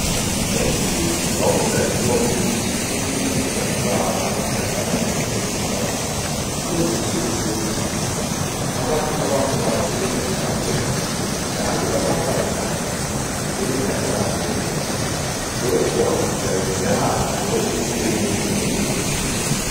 Endulo kwakusaziwa ukuthi umuntu ongubaba uthandana lomuntu wesifazane. Kulezinsuku sokuntshintshile abantu abangobaba sebethandana bodwa njalo labafazana sebethandana bodwa. Lokhu akujwayelekanga lokhu esikweni lwesindebele.